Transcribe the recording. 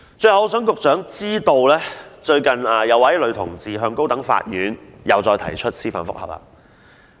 最後，我想讓局長知道，最近再有一名女同志向高等法院提出司法覆核。